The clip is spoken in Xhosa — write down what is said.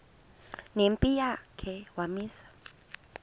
nempi yakhe wamisa